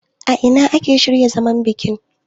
a ina aka shirya zaman bikin?